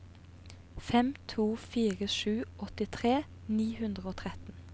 fem to fire sju åttitre ni hundre og tretten